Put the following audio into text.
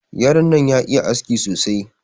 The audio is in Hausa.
Yaron nan ya iya aski sosai.